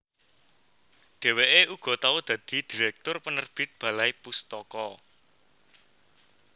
Dhèwèké uga tau dadi direktur penerbit Balai Pustaka